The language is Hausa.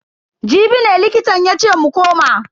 Jibi ne likitan yace mu koma.